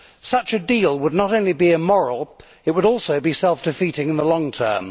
Such a deal would not only be immoral, it would also be self defeating in the long term.